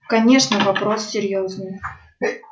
конечно вопрос серьёзный